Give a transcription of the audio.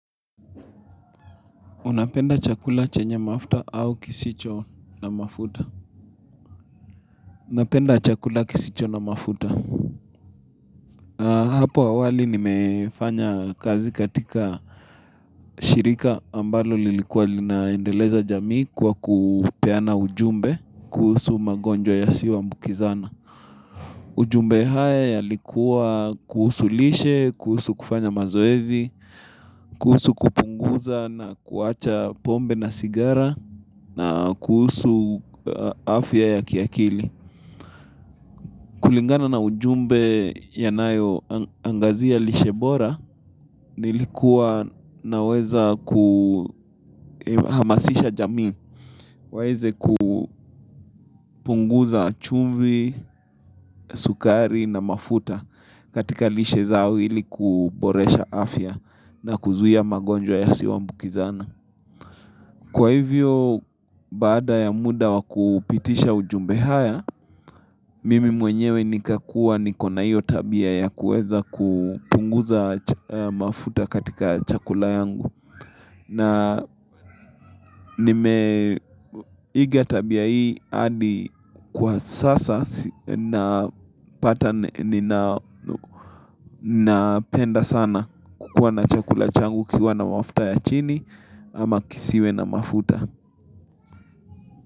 Unapenda chakula chenye mafuta au kisicho na mafuta? Napenda chakula kisicho na mafuta. Hapo awali nimefanya kazi katika shirika ambalo lilikuwa linaendeleza jamii kwa kupeana ujumbe kuhusu magonjwa yasiyo ambukizana. Ujumbe haya yalikuwa kuhusu lishe, kuhusu kufanya mazoezi, kuhusu kupunguza na kuacha pombe na sigara na kuhusu afya ya kiakili. Kulingana na ujumbe ya nayo angazia lishebora nilikuwa naweza kuhamasisha jamii. Weze kupunguza chumvi, sukari na mafuta katika lishe zao ili kuboresha afya na kuzuta magonjwa yasiyo ambukizana. Kwa hivyo, baada ya muda wakupitisha ujumbe haya, mimi mwenyewe nikakua nikona hiyo tabia ya kueza kutunguza mafuta katika chakula yangu. Na nime iga tabia hii adi kwa sasa na pata nina penda sana kukuwa na chakula changu kiwa na mafuta ya chini ama kisiwe na mafuta.